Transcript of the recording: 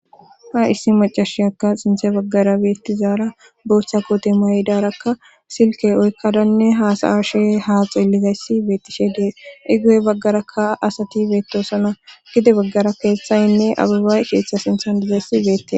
ha issi macashyaka xinthe baggara beettizaara booththa kote maydarakka silke oykkadanne haasayashe haa xeelizayssi beettishe dee igo7e baggarakka asati beettosona gide baggara keeththaynne abibay keeththa sinthan dizayssi beettee